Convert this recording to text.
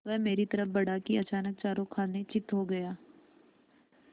वह मेरी तरफ़ बढ़ा कि अचानक चारों खाने चित्त हो गया